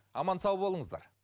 аман сау болыңыздар